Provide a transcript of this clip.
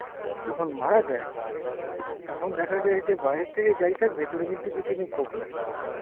যখন মারা যায় তখন দেখা যায় যে বাইরের থেকে যাই থাক ভেতরে কিন্তু কিছুই নেই খোকলা।